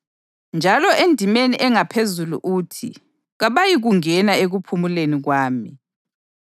Njalo endimeni engaphezulu uthi, “Kabayikungena ekuphumuleni kwami.” + 4.5 AmaHubo 95.11